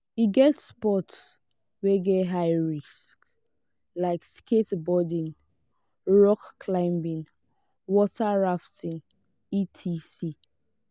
e get sports wey get high risk like skateboarding rock climbing water rafting etc